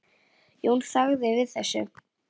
Jón þagði við þessu.